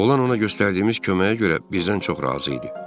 Olan ona göstərdiyimiz köməyə görə bizdən çox razı idi.